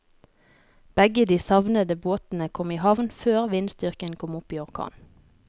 Begge de savnede båtene kom i havn før vindstyrken kom opp i orkan.